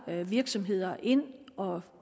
virksomheder ind og